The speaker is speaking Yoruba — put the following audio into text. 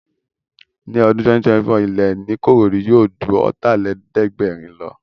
Ní ọdún 2024, ilẹ́ ní Ìkòròdú yóò ju Ọ̀tàlélẹ̀ẹ́dẹ́gbẹ̀rin lọ